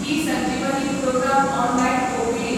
eSanjeevani programme online OPD